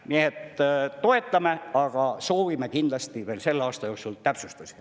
Nii et toetame, aga soovime kindlasti veel selle aasta jooksul täpsustusi.